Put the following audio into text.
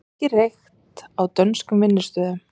Mikið reykt á dönskum vinnustöðum